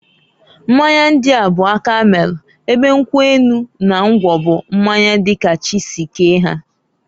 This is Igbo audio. Mmanya ndia bu aka melu, ebe nkwu enu na ngwọ bụ mmanya di ka chi si kee ha.